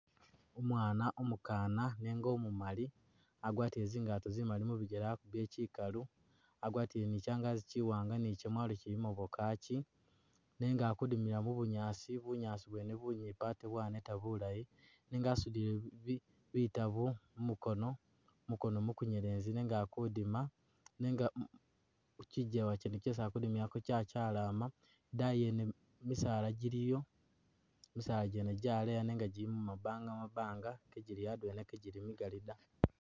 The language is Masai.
Umwaana umukaana nenga umumali agwatile zingato zimali mubigele akubile kyikalu agwatile ni kyangazi kyiwanga ni kyamalo kyilimo bwa kachi nenga akudimila mubunyaasi bunyaasi bwene bunyipi ate bwaneta bulayi nenga asudile bitaabo muukono mumuukono mukunyelezi nenga akudima nenga kukyijewa kyene kyesi akudimilako kyakyalama ,idayi yene misala jiliyo ,misaala jene jaleya nenga jilimo mabanga’mabanga kejili adwela kejili migali data.